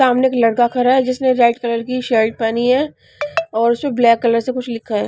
सामने एक लड़का खरा है जिसने रेड कलर की शर्ट पहनी है और उसम ब्लैक कलर से कुछ लिखा है।